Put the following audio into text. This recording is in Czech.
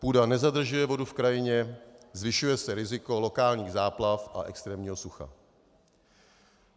Půda nezadržuje vodu v krajině, zvyšuje se riziko lokálních záplav a extrémního sucha.